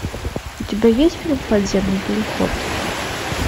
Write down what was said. у тебя есть фильм подземный переход